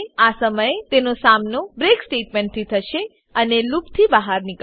આ સમયે તેનો સામનો બ્રેક સ્ટેટમેંટથી થશે અને લૂપથી બહાર નીકળશે